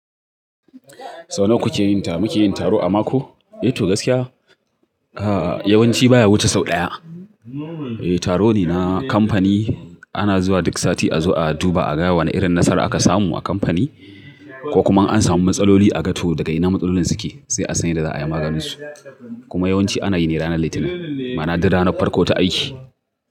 Sau nawa kuke yin ta? Muke yin taro a mako, eh to gaskiya. Yawanci baya wuce sau ɗaya. Eh taro ne na kamfani. Ana zuwa duk sati a zo a duba a ga wane irin nasara aka samu a kamfani ko kuma in an samu matsaloli a ga to daga ina matsalolin suke sai a san yadda za a yi maganinsu. Kuma yawanci ana yi ne ranar Litinin, ma'ana duk ranar farko ta aiki.